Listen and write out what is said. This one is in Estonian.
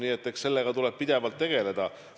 Nii et eks sellega tuleb pidevalt tegeleda.